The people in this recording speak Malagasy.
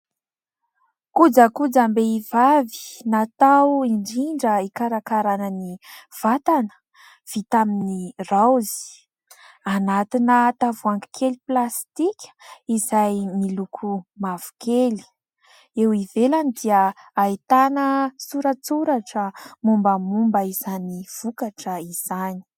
Kojakojam-behivavy, natao indrindra hikarakaràna ny vatana, vita amin'ny raozy. Anatina tavoahangy kely plastika izay miloko mavokely. Eo ivelany dia ahitana sora-tsoratra mombamomba izany vokatra izany.